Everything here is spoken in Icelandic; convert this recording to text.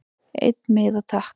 Einn miða takk